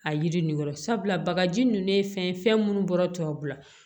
A yiri nin kɔrɔ sabula bagaji ninnu ye fɛn ye fɛn minnu bɔra tubabula